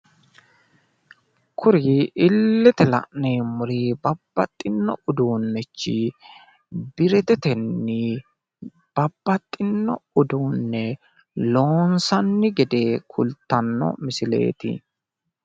kuri illete la'neemmori babbaxino uduunnichi biretetenni babbaxino uduunne loonsanni gede kultanno misileeti.